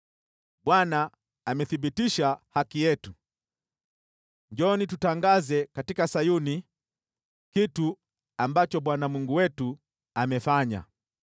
“‘ Bwana amethibitisha haki yetu; njooni, tutangaze katika Sayuni kitu ambacho Bwana Mungu wetu amefanya.’